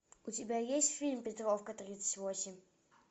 у тебя есть фильм петровка тридцать восемь